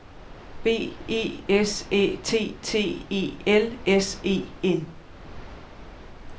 B E S Æ T T E L S E N